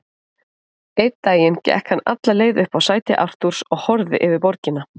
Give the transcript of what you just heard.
Einn daginn gekk hann alla leið upp á sæti Artúrs og horfði yfir borgina.